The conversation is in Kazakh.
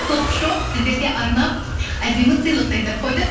топ шоп сіздерге арнап әдемі сыйлық дайындап қойды